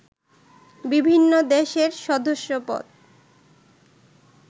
বিভিন্ন দেশের সদস্যপদ